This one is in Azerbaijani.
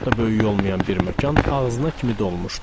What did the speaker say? Çox da böyük olmayan bir məkan ağzına kimi dolmuşdu.